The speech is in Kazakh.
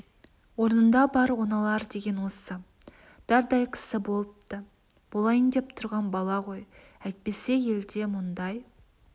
орнында бар оңалар деген осы дардай кісі болыпты болайын деп тұрған бала ғой әйтпесе елде мұндай